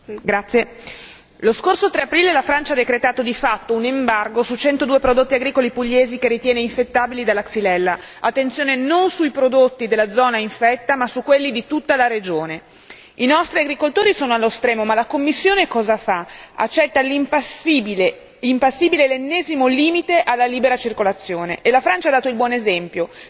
Signora Presidente, onorevoli colleghi, lo scorso 3 aprile la Francia ha decretato di fatto un embargo su 102 prodotti agricoli pugliesi che ritiene infettabili dalla Xylella, attenzione non sui prodotti della zona infetta, ma su quelli di tutta la regione. I nostri agricoltori sono allo stremo ma la Commissione cosa fa? Accetta impassibile l'ennesimo limite alla libera circolazione e la Francia ha dato il buon esempio.